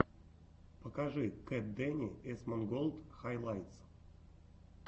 покажи кэтдэни эсмонголд хайлайтс